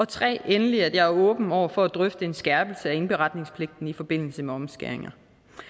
tredje at jeg er åben over for at drøfte en skærpelse af indberetningspligten i forbindelse med omskæringer